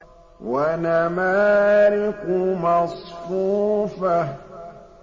وَنَمَارِقُ مَصْفُوفَةٌ